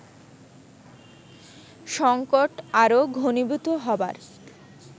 সংকট আরো ঘণীভূত হবার